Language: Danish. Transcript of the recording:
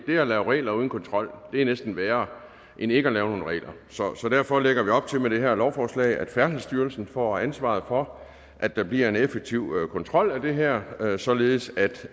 det at lave regler uden kontrol er næsten værre end ikke at lave nogen regler så så derfor lægger vi op til med det her lovforslag at færdselsstyrelsen får ansvaret for at der bliver en effektiv kontrol af det her således at